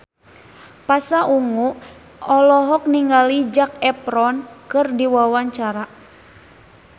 Pasha Ungu olohok ningali Zac Efron keur diwawancara